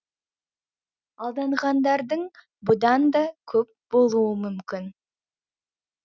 алданғандардың бұдан да көп болуы мүмкін